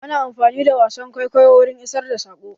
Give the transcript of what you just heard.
Ana amfani da wasan kwaikwayo wurin isar da saƙo.